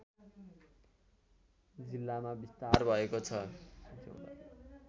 जिल्लामा विस्तार भएको छ